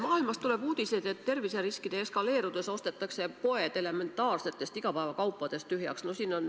Maailmast tuleb uudiseid, et terviseriskide eskaleerudes ostetakse poed elementaarsetest igapäevakaupadest tühjaks.